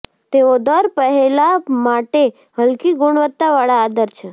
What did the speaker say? તેઓ દર પહેલા માટે હલકી ગુણવત્તાવાળા આદર છે